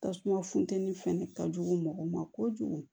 Tasuma funtɛni fɛnɛ ka jugu mɔgɔ ma kojugu